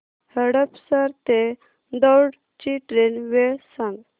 हडपसर ते दौंड ची ट्रेन वेळ सांग